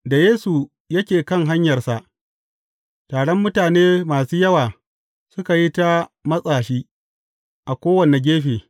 Da Yesu yake kan hanyarsa, taron mutane masu yawa suka yi ta matsa shi a kowane gefe.